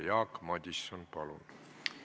Jaak Madison, palun!